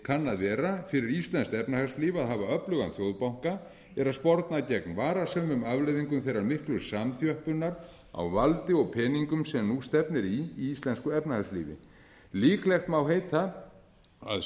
kann að vera yfir íslenskt efnahagslíf að hafa öflugan þjóðbanka er að sporna gegn varasömum afleiðingum þeirrar miklu samþjöppunar á valdi og peningum sem nú stefnir í íslensku efnahagslífi líklegt má heita að